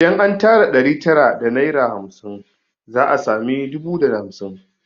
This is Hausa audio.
Idan an tara naira ɗari tara da naira hamsin za a sami dubu da hamsin